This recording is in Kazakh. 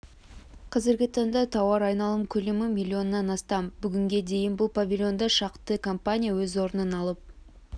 қазіргі таңда тауар айналым көлемі миллионнан астам бүгінге дейін бұл павильонда шақты компания өз орнын алып